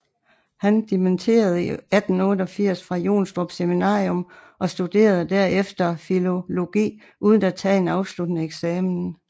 Han dimitterede i 1888 fra Jonstrup Seminarium og studerede derefter filologi uden at tage en afsluttende eksamen